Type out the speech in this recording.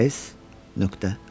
S.O.